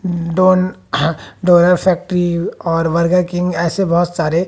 done डोरा factory और Burger King ऐसे बहुत सारे--